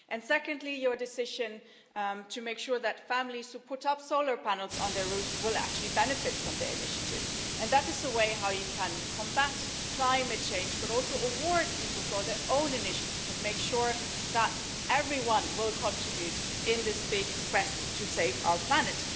Secondly, your decision to make sure that families who put up solar panels on their roofs will actually benefit from doing so is a way not only to combat climate change but also to reward people for their own initiative and make sure that everyone will contribute in this big quest to save our planet.